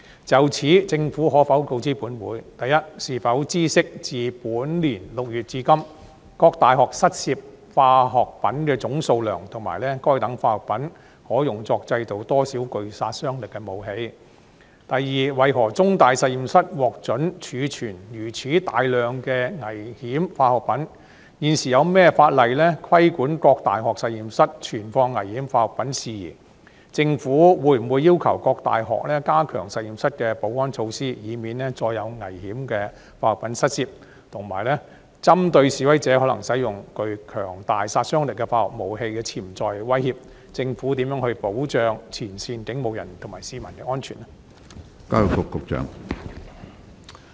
就此，政府可否告知本會：一是否知悉自本年6月至今，各大學失竊化學品的總數量，以及該等化學品可用作製造多少具殺傷力武器；二為何中大實驗室獲准儲存如此大量的危險化學品；現時有何法例規管各大學實驗室存放危險化學品事宜；政府會否要求各大學加強實驗室的保安措施，以免再有危險化學品失竊；及三針對示威者可能使用具強大殺傷力的化學武器的潛在威脅，政府如何保障前線警務人員及市民的安全？